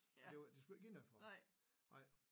Men det var de skulle ikke give noget for det ej